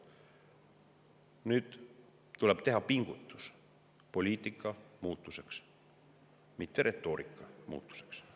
Nüüd tuleb teha pingutus poliitika muutuseks, mitte retoorika muutuseks.